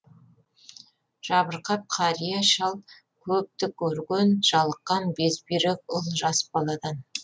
жабырқап қария шал көпті көрген жалыққан безбүйрек ұл жас баладан